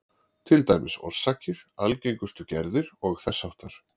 Til dæmis orsakir, algengustu gerðir og þess háttar.